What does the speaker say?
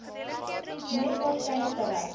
mees waarskynlik bereik